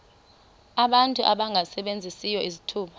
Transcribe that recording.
abantu abangasebenziyo izithuba